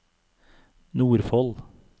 Nordfold